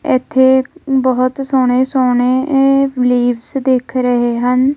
ਇਥੇ ਬਹੁਤ ਸੋਹਣੇ-ਸੋਹਣੇ ਇਹ ਲੀਵਸ ਦਿਖ ਰਹੇ ਹਨ।